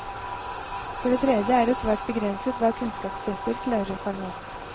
For det tredje er det svært begrenset hva kunnskapstester klarer å fange opp.